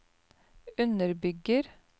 underbygger